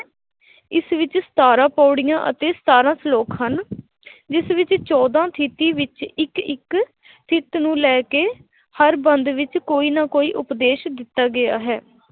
ਇਸ ਵਿੱਚ ਸਤਾਰਾਂ ਪਾਉੜੀਆਂ ਅਤੇ ਸਤਾਰਾਂ ਸ਼ਲੋਕ ਹਨ ਜਿਸ ਵਿੱਚ ਚੋਦਾਂ ਥਿੱਤੀ ਵਿੱਚ ਇੱਕ ਇੱਕ ਥਿੱਤ ਨੂੰ ਲੈ ਕੇ ਹਰ ਬੰਦ ਵਿੱਚ ਕੋਈ ਨਾ ਕੋਈ ਉਪਦੇਸ਼ ਦਿੱਤਾ ਗਿਆ ਹੈ।